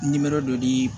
dɔ di